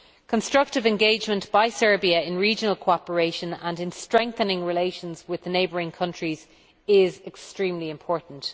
Constructive engagement by Serbia in regional cooperation and in strengthening relations with neighbouring countries is extremely important.